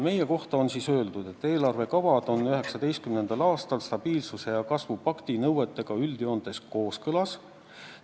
Meie kohta on öeldud, et eelarvekavad on 2019. aastal stabiilsuse ja kasvu pakti nõuetega üldjoontes kooskõlas.